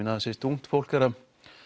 ungt fólk er að